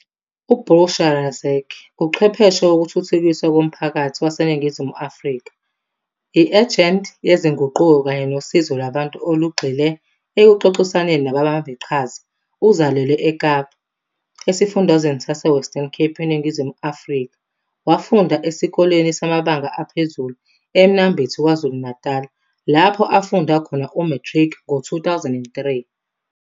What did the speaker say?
U-Bushra Razack uchwepheshe wokuthuthukiswa komphakathi waseNingizimu Afrika, i-ejenti yezinguquko kanye nosizo lwabantu olugxile ekuxoxisaneni nababambiqhaza. Uzalelwe eKapa, esifundazweni saseWestern Cape eNingizimu Afrika wafunda esikoleni samabanga aphezulu eMnambithi, KwaZulu-Natal lapho afunda khona u-matric ngo-2003.